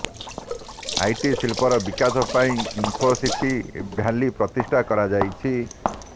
IT ଶିଳ୍ପର ବିକାଶ ପାଇଁ ଇନ୍ଫୋସିଟି ଭ୍ୟାଲି ପ୍ରତିଷ୍ଠା କରାଯାଇଛି